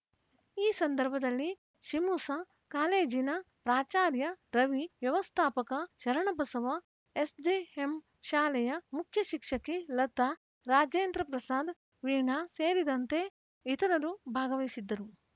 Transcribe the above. ಈ ಸಂದರ್ಭದಲ್ಲಿ ಶಿಮುಶ ಕಾಲೇಜಿನ ಪ್ರಾಚಾರ್ಯ ರವಿ ವ್ಯವಸ್ಥಾಪಕ ಶರಣಬಸವ ಎಸ್‌ಜೆಎಂ ಶಾಲೆಯ ಮುಖ್ಯ ಶಿಕ್ಷಕಿ ಲತಾ ರಾಜೇಂದ್ರ ಪ್ರಸಾದ ವೀಣಾ ಸೇರಿದಂತೆ ಇತರರು ಭಾಗವಹಿಸಿದ್ದರು